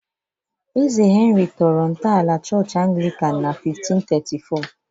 Eze Henry tọrọ ntọala Chọọchị Anglican na 1534